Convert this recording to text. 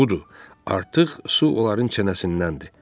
Budur, artıq su onların çənəsindəndir.